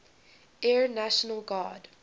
air national guard